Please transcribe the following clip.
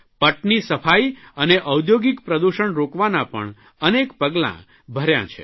પટની સપાઇ અને ઔદ્યોગિક પ્રદૂષણ રોકવાના પણ અનેક પગલાં ભર્યાં છે